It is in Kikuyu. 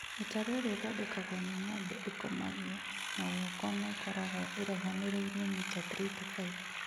Mĩtaro ĩrĩa ĩthondekagwo nĩ ng'ombe ĩkomagio na guoko na ĩgakorwo ĩraihanĩrĩirie mita 3-5